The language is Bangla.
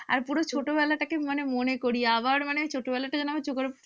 আর পুরো ছোটবেলাটাকে মানে মনে করি, আবার মানে ছোটবেলাটা যেনো আমার চোখের